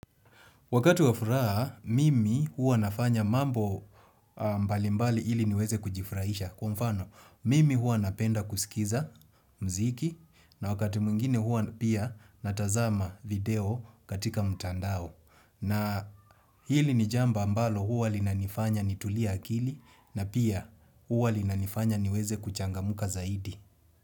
Wakati wa furaha, mimi hua nafanya mambo mbali mbali ili niweze kujifurahisha. Kwa mfano, mimi hua napenda kusikiza mziki na wakati mwingine hua pia natazama video katika mtandao. Na hili ni jambo ambalo hua linanifanya nitulie akili na pia hua linanifanya niweze kuchangamuka zaidi.